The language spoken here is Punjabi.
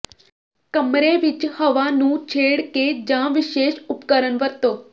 ਕਮਰੇ ਵਿਚ ਹਵਾ ਨੂੰ ਛੇੜ ਕੇ ਜਾਂ ਵਿਸ਼ੇਸ਼ ਉਪਕਰਣ ਵਰਤੋ